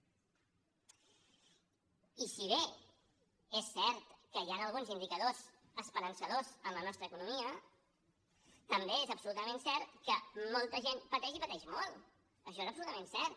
i si bé és cert que hi han alguns indicadors esperançadors en la nostra economia també és absolutament cert que molta gent pateix i pateix molt això és absolutament cert